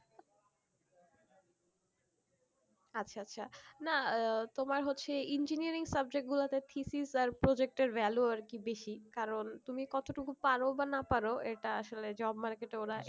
আচ্ছা আচ্ছা না তোমার হচ্ছে engineering subject গুলোতে thesis আর project এর value আর কি বেশি কারণ তুমি কতটুকু পারো বা না পারো এটা আসলে job market এ ওরা